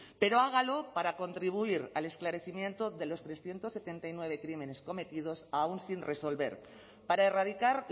pero hágalo para contribuir al esclarecimiento de los trescientos setenta y nueve crímenes cometidos aún sin resolver para erradicar